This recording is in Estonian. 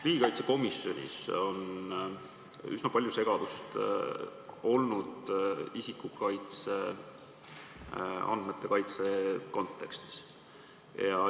Riigikaitsekomisjonis on üsna palju segadust olnud isikuandmete kaitse kontekstis.